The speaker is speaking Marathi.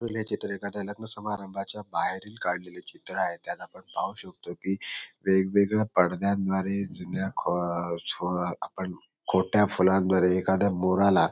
एखाद्या लग्न समारंभाच्या बाहेरील काढलेले चित्र आहे त्यात आपण पाहू शकतो की वेगवेगळ्या पडद्यांद्वारे जुन्या खो सो आपण खोट्या फुलांद्वारे एखाद्या मोराला --